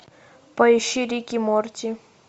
поищи рик и морти